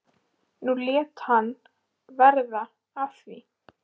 Nú lét hann verða af því.